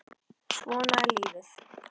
Svona er lífið.